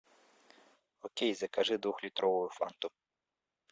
окей закажи двухлитровую фанту